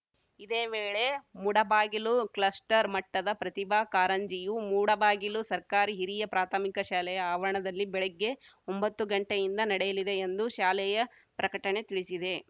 ಇದೇ ವೇಳೆ ಮೂಡಬಾಗಿಲು ಕ್ಲಸ್ಟರ್‌ ಮಟ್ಟದ ಪ್ರತಿಭಾ ಕಾರಂಜಿಯು ಮೂಡಬಾಗಿಲು ಸರ್ಕಾರಿ ಹಿರಿಯ ಪ್ರಾಥಮಿಕ ಶಾಲೆಯ ಆವರಣದಲ್ಲಿ ಬೆಳಗ್ಗೆ ಒಂಬತ್ತು ಗಂಟೆಯಿಂದ ನಡೆಯಲಿದೆ ಎಂದು ಶಾಲೆಯ ಪ್ರಕಟಣೆ ತಿಳಿಸಿದೆ